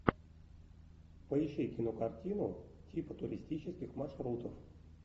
поищи кинокартину типа туристических маршрутов